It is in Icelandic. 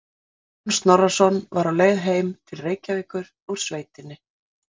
Kristján Snorrason var á leið heim til Reykjavíkur úr sveitinni.